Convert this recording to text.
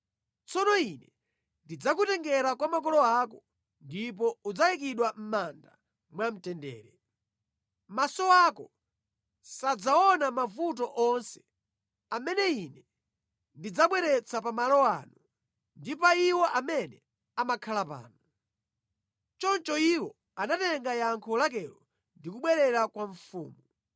Tsono Ine ndidzakutengera kwa makolo ako, ndipo udzayikidwa mʼmanda mwamtendere. Maso ako sadzaona mavuto onse amene Ine ndidzabweretsa pa malo ano ndi pa iwo amene amakhala pano.’ ” Choncho iwo anatenga yankho lakelo ndi kubwerera kwa mfumu.